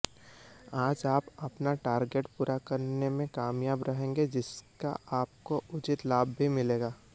आज आप अपना टारगेट पूरा करने में कामयाब रहेंगे जिसका आपको उचित लाभ भी मिलेगा